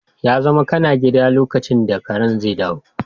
Ya zamana kana gida lokacin da karen zai dawo